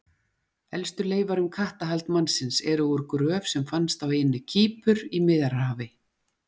Elstu leifar um kattahald mannsins, eru úr gröf sem fannst á eyjunni Kýpur í Miðjarðarhafi.